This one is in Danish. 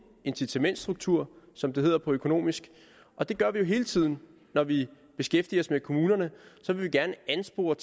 incitamentsstruktur som det hedder på økonomisk og det gør vi jo hele tiden når vi beskæftiger os med kommunerne vil vi gerne anspore